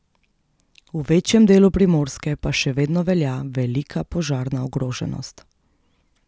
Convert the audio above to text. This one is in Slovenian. V večjem delu Primorske pa še vedno velja velika požarna ogroženost.